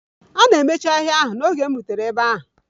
A na-emechi ahịa ahụ n'oge m rutere ebe ahụ.